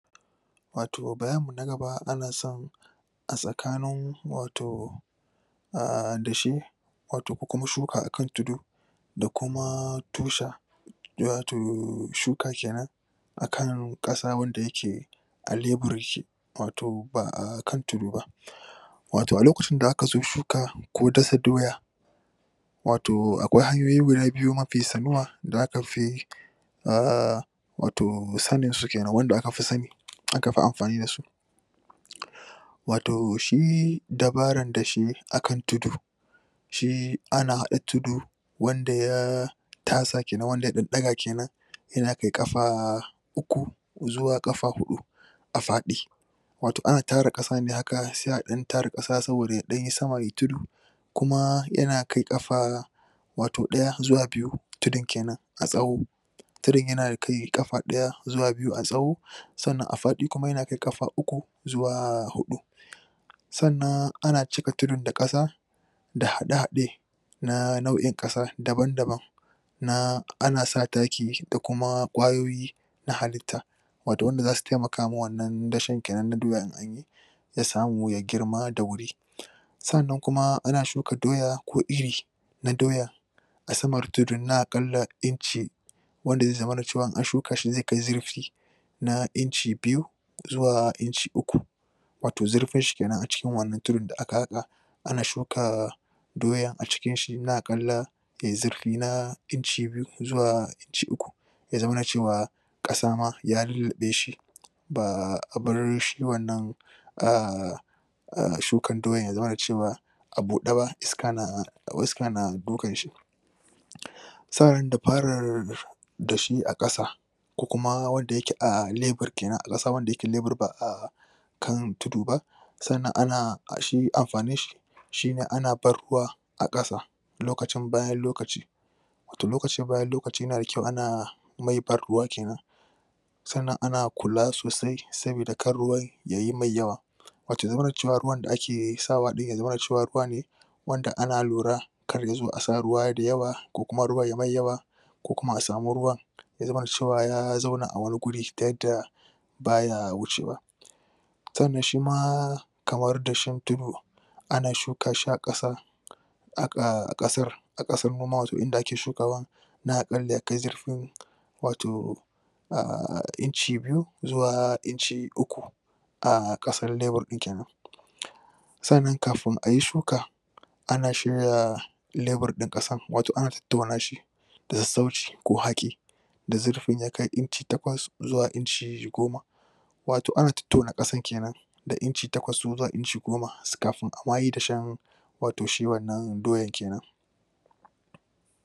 Wato bayani na gaba, ana son a tsakanin wato dashe wato ko kuma shuka a kan tudu da kuma tosha shuka kenan a kan kasa wadda yake wato ba'a ba Wato a lokacin da a ka zo shuka, ko dasa doya, wato akwai hanyoye guda biyu mafi sanuwa, da aka fi wato sanin su kenan, wanda aka fi sane aka fi amfani da su wato shi dabaran dashe a kan tudu shi ana hada tudu, wanda ya tasa kenan, wanda ya dan daga kenan yadda aka yi kafa uku zuwa kafa hudu a fadi. Wato ana tara kasa ne haka, sai a dan tara kasa saboda ya yi dan sama, yayi tudu kuma yana kai kafa wato daya zuwa biyu, tudun kenan a tsowo tudun yana kai kafa daya zuwa biyu a tsowo tsannan a fadi kuma yana kai kafa uku, zuwa hudu tsannan ana cika tudun da kasa da hade-hade na na'iun kasa, daban-daban na, ana sa taki daq kuma kwayoyi na halita. Wato wanda za su taimaka wa wannan dashen kenan na doya in an yi da samu ya girma da wuri Tsannan kuma ana shuka doya ko iri na doya a samar tudun na wanda ze zamana cewa in an shuka shi zai kai zurfi na inci biyu zuwa inci uku wato zurfin shi kenan a cikin wannan tudun da aka haka ana shuka doya a cikin shi na kallon de zurfi na inci biyu zuwa inci uku ya zauna cewa kasa ma ya lulube shi ba'a bar shi wannan a' a' shukan doyan ya zama da cewa a bude ba, iska na iska na dukan shi da shi a kasa ko kuma wadda yake a' wanda yake lebruca a kan tudu ba tsannan ana shi amfanin shi shi ne ana bar ruwa a kasa lokacin bayan lokaci toh lokacin bayan lokaci na da kyau, ana kenan tsannan ana kula sosai saboda kar ruwan yayi mai yawa wato ya zamana cewa ruwan da ake sa wa din yazamana cewa ruwa ne wanda ana lura kar ya zo a sa ruwa da yawa ko kuma ruwan ya me yawa ko kuma a samu ruwan ya zamana cewa ya zauna a wane wuri ta yadda baya wucewa Tsannan shi ma, kamar dashen tudu ana shuka shi a kasa a kasar a kasar noman wato inda ake shukawan wato a' inci biyu zuwa inci uku a' kasar lebar din kenan Tsannan kafin a yi shuka, ana shirya lebur na kasan wato ana tattauna shi da sassauci ko haki da zurfi na kai inci takwas zuwa inci goma. Wato ana tattauna kasan kenan da inci takwas zuwa inci goma kafin a ma yi dashen